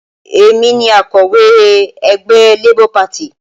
Èmi ni akọ̀wé ẹgbẹ́ Labour Party